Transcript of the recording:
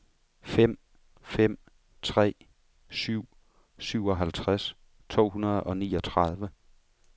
fem fem tre syv syvoghalvtreds to hundrede og niogtredive